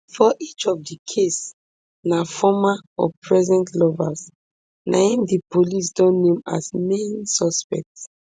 for each of di case na former or present lovers na im di police don name as main suspects